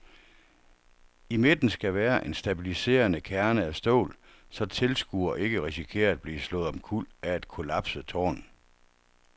I midten skal være en stabiliserende kerne af stål, så tilskuere ikke risikerer at blive slået omkuld af et kollapset tårn.